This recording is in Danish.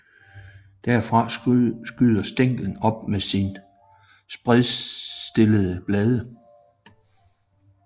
Derfra skyder stænglen op med de spredtstillede blade